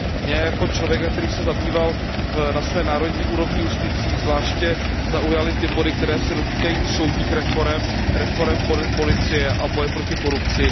Mě jako člověka, který se zabýval na své národní úrovni justicí, zvláště zaujaly ty body, které se dotýkají soudních reforem, reforem policie a boje proti korupci.